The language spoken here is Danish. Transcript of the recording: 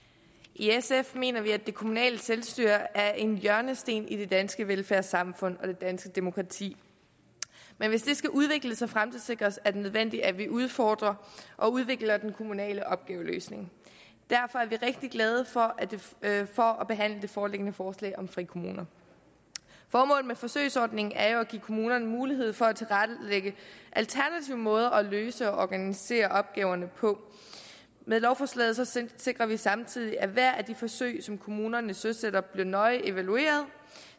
i sf mener vi at det kommunale selvstyre er en hjørnesten i det danske velfærdssamfund og det danske demokrati men hvis det skal udvikles og fremtidssikres er det nødvendigt at vi udfordrer og udvikler den kommunale opgaveløsning derfor er vi rigtig glade for at behandle det foreliggende forslag om frikommuner formålet med forsøgsordningen er jo at give kommunerne mulighed for at tilrettelægge alternative måder at løse og organisere opgaverne på med lovforslaget sikrer vi samtidig at hvert af de forsøg som kommunerne søsætter bliver nøje evalueret